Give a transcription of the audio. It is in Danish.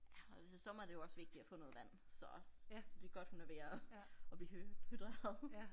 Ja og hvis det sommer er det jo også vigtigt at få noget vand så så det godt hun er ved at at blive hydreret